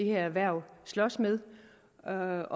erhverv slås med og